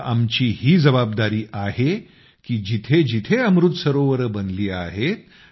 आता आमची ही जबाबदारी आहे की जेथे जेथे अमृत सरोवरं बनली आहेत